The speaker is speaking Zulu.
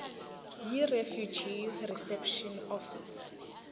yirefugee reception office